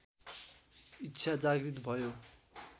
इच्छा जागृत भयो